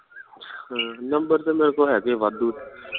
ਹਮ number ਤੇ ਮੇਰੇ ਕੋਲ ਹੈਗੇ ਵਾਧੂ